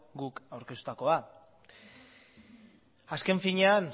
guk aurkeztutakoa azken finean